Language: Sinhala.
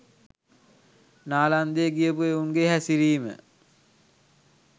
නාලන්දේ ගියපු එවුන්ගේ හැසිරීම?